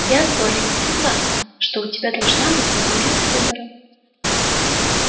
я с борей согласна что у тебя должна быть возможность выбора